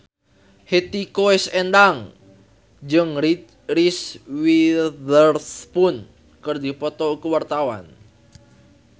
Hetty Koes Endang jeung Reese Witherspoon keur dipoto ku wartawan